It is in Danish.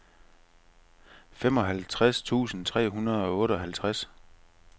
femoghalvtreds tusind tre hundrede og otteoghalvtreds